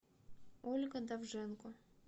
ольга довженко